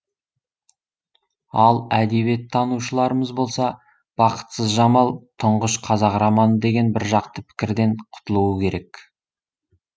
ал әдебиеттанушыларымыз болса бақытсыз жамал тұңғыш қазақ романы деген біржақты пікірден құтылуы керек